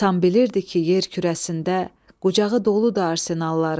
İnsan bilirdi ki, yer kürəsində qucağı doludu arsenalların.